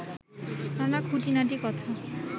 নানা খুঁটিনাটি কথা